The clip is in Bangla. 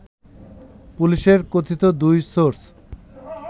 পুলিশের কথিত দুই সোর্স